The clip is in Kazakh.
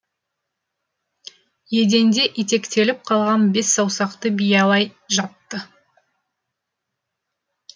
еденде итектеліп қалған бес саусақты биялай жатты